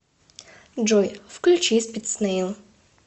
джой включи спид снэил